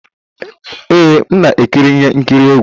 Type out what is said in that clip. Ee, m na-ekiri ihe nkiri egwu